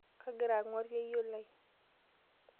Kagira ang'war yeyio lai.